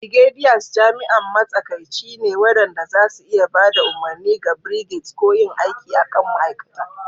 Brigadiers jami'an matsakaici ne waɗanda za su iya ba da umarni ga brigades ko yin aiki a kan ma'aikata.